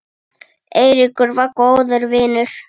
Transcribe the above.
Eiríkur var góður vinur.